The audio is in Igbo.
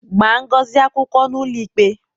Gbaa Ngozi akwụkwọ n'ụlọikpe!